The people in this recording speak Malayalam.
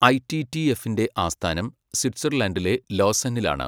ഐ. ടി. ടി. എഫിന്റെ ആസ്ഥാനം സ്വിറ്റ്സർലൻഡിലെ ലോസന്നിലാണ്.